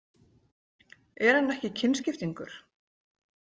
Er hann ekki kynskiptingur?